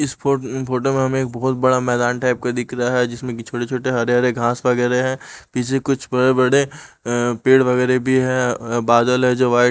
इस फो फोटो में हमें एक बहुत बड़ा मैदान टाईप का दिख रहा जिसमें की छोटे छोटे हरे हरे घास वगैरे है पीछे कुछ बड़े बड़े अ पेड़ वगैरे भी है बादल है जो व्हाई--